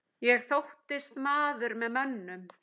Ég þóttist maður með mönnum.